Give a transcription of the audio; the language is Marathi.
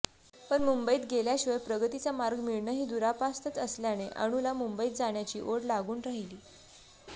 पण मुंबईत गेल्याशिवाय प्रगतीचा मार्ग मिळणंही दुरापास्तच असल्याने अनूला मुंबईत जाण्याची ओढ लागून राहिली